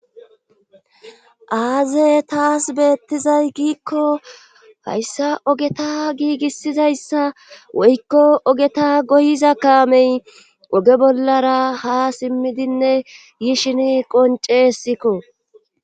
aaze taas beettizay giikko hayssa ogeta giigissizayssa woykko ogeta goyiza kaamey oge bollara ha simmidinne yishin qoncehesikko